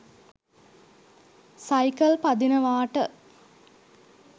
cycle පදිනවාට